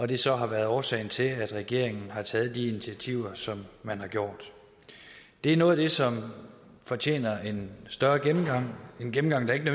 det så har været årsagen til at regeringen har taget de initiativer som man har gjort det er noget af det som fortjener en større gennemgang en gennemgang der ikke